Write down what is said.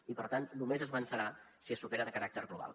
i per tant només es vencerà si se supera amb caràcter global